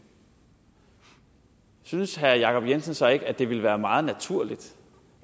synes herre jacob jensen så ikke at det ville være meget naturligt